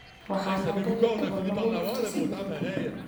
waxa laba iyo toban lagu dhufto siddeed